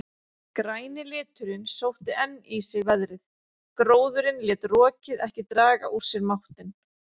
Græni liturinn sótti enn í sig veðrið, gróðurinn lét rokið ekki draga úr sér máttinn.